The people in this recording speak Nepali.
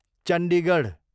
चण्डीगढ